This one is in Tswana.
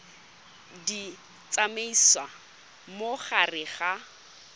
di tsamaisa mo gare ga